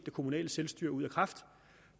kommunale selvstyre ud af kraft